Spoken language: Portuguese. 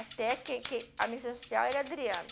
Até que que a minha social era a Adriana.